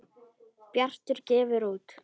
Bjartur gefur út.